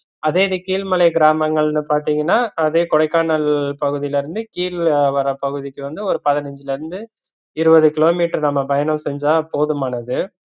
அதே இது கீழ்மலை கிராமங்கள்னு பாத்தீங்கன்னா அதே கொடைக்கானல் பகுதிலலிருந்து கீள்வர்ற பகுதிக்கு வந்து ஒரு பதினஞ்சுலலிருந்து இருவது கிலோமீட்டர் நம்ம பயண செஞ்சா போதுமானது